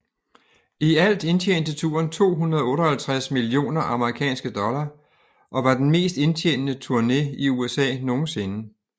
I alt indtjente turen 258 millioner amerikanske dollar og var den mest indtjenende turné i USA nogensinde